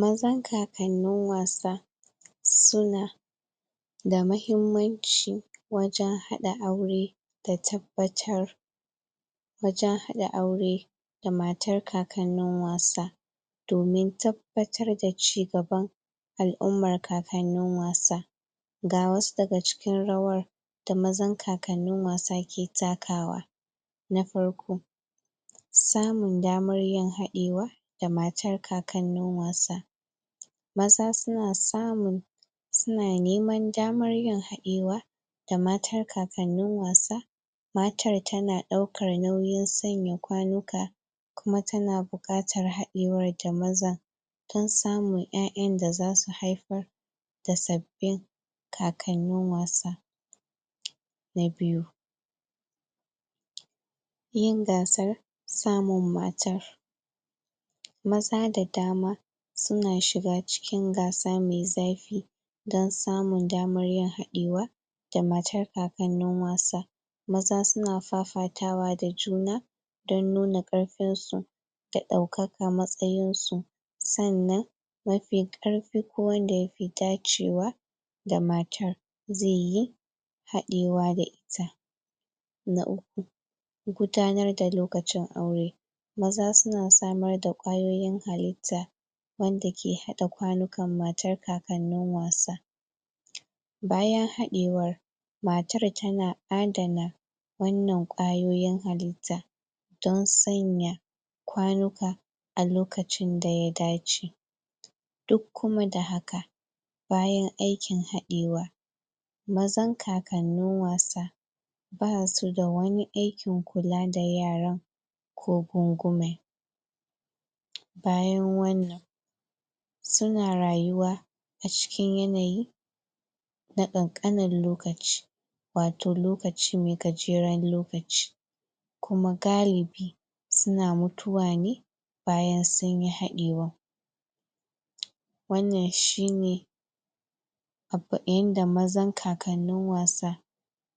Mazan kakannin wasa su na da mahimmanci wajen hada aura da tabbatar wajen hada aure da matar kakanin wasa domin tabbatar da cigaban alummar kakanin wasa ga wasu da ga cikin rawar da mazan kakanin wasa ke takawa na farko tsamun damar yin hadewa, da matar kakanin wasa maza su na samun su na nemar damar yin haɗewa da matar kakanin wasa matar ta na dauka nauyin tsanya kwanuka kuma ta na bukatar hadewar da maza tun samun ƴaƴan da za su haifar da sabbin kakanin wasa na biyu yin gasar samun matar maza da dama su na shiga cikin gasa mai zafi dan samur daman yin hadewa da matar kakanin wasa maza su na fafatawa da juna don nuna karfin su da daukaka matsayin su, tsannan mafin karfi ko wanda ya fi dacewa da matar zai yi hadewa da ita na uku, gudanar da lokacin aure maza su na samar da, kwayoyin halitta wanda ke hadda kwanukan matar kakannin wasa bayan haɗewar, matar ta na addana wannan kwayoyin halitta don tsanya kwanuka a lokacin da ya dace duk kuma da haka, bayan aikin haɗewa mazan kakanin wasa ba su da wani aikin kulla da yaran ko gungume bayan wannan su na rayuwa, a cikin yanayi na ƙanƙanar lokaci wato lokaci mai gajeren lokaci kuma gallibi su na mutuwa ne bayan sun yi haɗewan wannan shi ne abbain da mazan kakanin wasa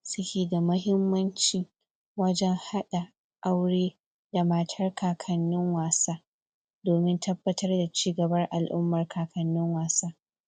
su ke da mahimmanci wajen hada aure da matar kakanin wasa domin tabbatar da cigaba alummar kakanin wasa.